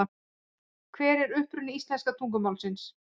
Hver er uppruni íslenska tungumálsins?